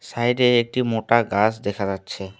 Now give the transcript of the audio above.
সাইডে একটি মোটা গাছ দেখা যাচ্ছে।